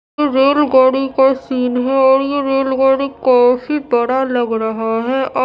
रेलगाड़ी के सीन है यह रेलगाड़ी काफी बड़ा लग रहा है अ--